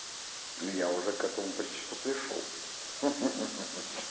и я уже к этому почти что пришёл ха ха ха ха